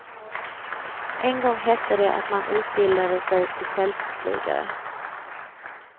En gång hette det att man utbildade sig till fältflygare.